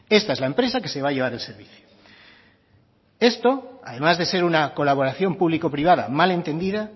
esta es la empresa que se va a llevar el servicio esto además de ser una colaboración público privada mal entendida